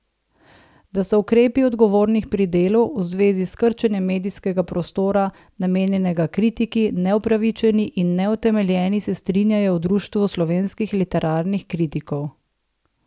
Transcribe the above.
Da so ukrepi odgovornih pri Delu v zvezi s krčenjem medijskega prostora, namenjenega kritiki, neupravičeni in neutemeljeni, se strinjajo v Društvu slovenskih literarnih kritikov.